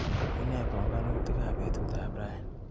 Unei panganutik ab betutap rani.